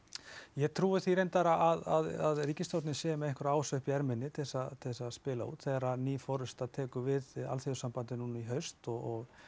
ég trúi því reyndar að ríkisstjórnin sé með einhverja Ása upp í erminni til þess að spila út þegar ný forysta tekur við Alþýðusambandinu núna í haust og